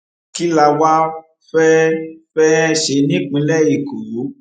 kí la wáá fẹẹ fẹẹ ṣe nípínlẹ èkó